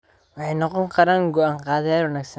Waxay noqon karaan go'aan-qaadayaal wanaagsan.